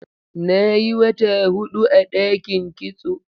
Na yi wata huɗu a ɗakin kitso.